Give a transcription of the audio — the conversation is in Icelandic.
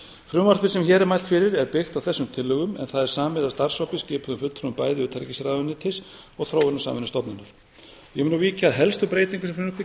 frumvarpið sem hér er mælt fyrir er byggt á þessum tillögum en það er samið af starfshópi skipuðum fulltrúum bæði utanríkisráðuneytis og þróunarsamvinnustofnunar ég mun nú víkja að helstu breytingum sem frumvarpið gerir